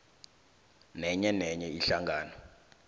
nenye nenye ihlangano